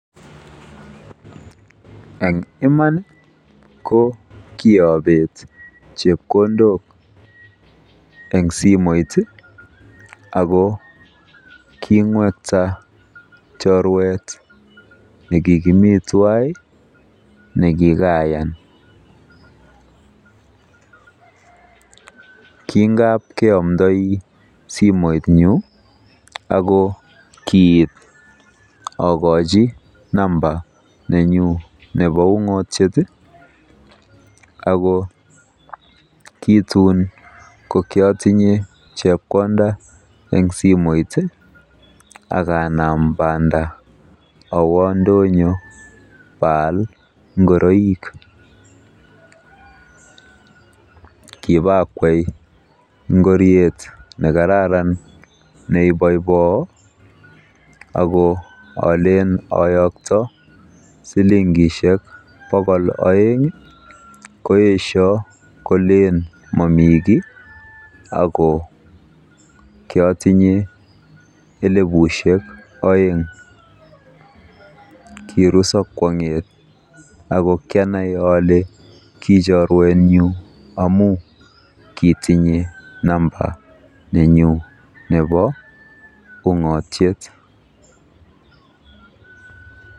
Eng Iman ko kiabeet chepkondok eng simet ako king'wekta choruetnyu nekikayan. Kingabkeomdoi simetnyu ako kiit akochi namba nenyu nebo ung'otiet ako kii tun atinye chepkondet eng simet akaanam banda awo ndonyo baal ngoroik. Kibakwei ngoriet nekararan neiboiboo ako ngolen ayokto silingisiek bokol oeng koesioi kolen mami kiy ako kiatinye elebusiek oeng. Kiruso kwong'et ako kianai ole kii choruetnyu amu kiitinye namba nenyu nebo ung'otiet.